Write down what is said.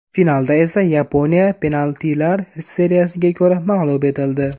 Finalda esa Yaponiya penaltilar seriyasiga ko‘ra mag‘lub etildi.